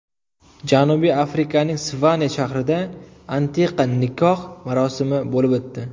Janubiy Afrikaning Svane shahrida antiqa nikoh marosimi bo‘lib o‘tdi.